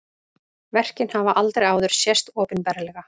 Verkin hafa aldrei áður sést opinberlega